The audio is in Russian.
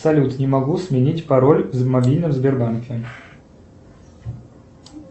салют не могу сменить пароль в мобильном сбербанке